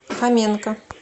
хоменко